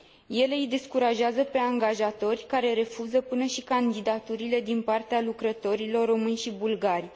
Ele îi descurajează pe angajatori, care refuză până și candidaturile din partea lucrătorilor români și bulgari.